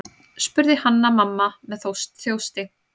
spurði Hanna-Mamma með þjósti.